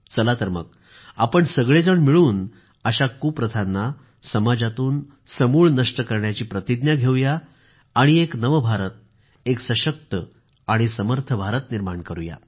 चला तर मग आपण सगळेजण मिळून अशा कुप्रथांना समाजातून समूळ नष्ट करण्याची प्रतिज्ञा घेवू या आणि एक नव भारत एक सशक्त आणि समर्थ भारत निर्माण करू या